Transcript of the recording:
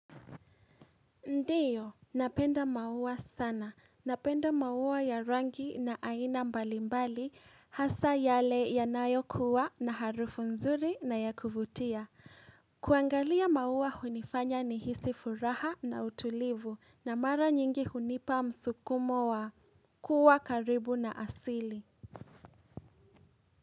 Ndiyo, napenda maua sana. Napenda maua ya rangi na aina mbalimbali hasa yale ya nayo kuwa na harufu nzuri na ya kuvutia. Kuangalia maua hunifanya ni hisi furaha na utulivu na mara nyingi hunipa msukumo wa kuwa karibu na asili.